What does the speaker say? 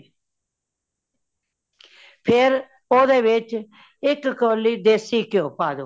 ਫੇਰ ਓਦੇ ਵਿਚ ਇਕ ਕੋਲੀ ਦਿੱਸੇ ਕਯੋ ਪਾ ਦੋ ,